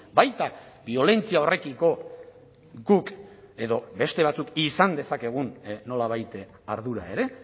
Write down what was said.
baita biolentzia horrekiko guk edo beste batzuk izan dezakegun nolabait ardura ere